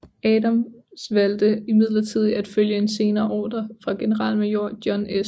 Adams valgte imidlertid at følge en senere ordre fra generalmajor John S